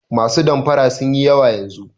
Masu damfara sun yi yawa yanzu.